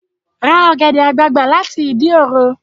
Ra ọ̀gẹ̀dẹ̀ àgbagbà láti Ìdí òro!